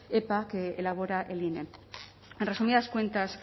epa que elabora el ine en resumidas cuentas